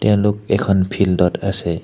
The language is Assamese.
তেওঁলোক এখন ফিল্ডত আছে।